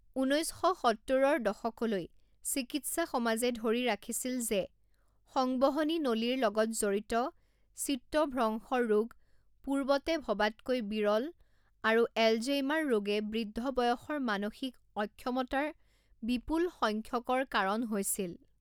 ঊনৈছ শ সত্তৰৰ দশকলৈ, চিকিৎসা সমাজে ধৰি ৰাখিছিল যে সংবহনী নলীৰ লগত জড়িত চিত্তভ্ৰংশ ৰোগ পূৰ্বতে ভবাতকৈ বিৰল আৰু এলঝেইমাৰ ৰোগে বৃদ্ধ বয়সৰ মানসিক অক্ষমতাৰ বিপুল সংখ্যকৰ কাৰণ হৈছিল।